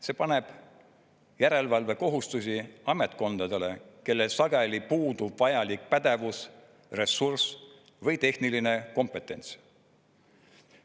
See paneb järelevalvekohustusi ametkondadele, kellel sageli puudub vajalik pädevus, ressurss või tehniline kompetents.